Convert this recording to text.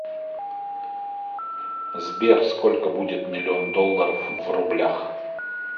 сбер сколько будет миллион долларов в рублях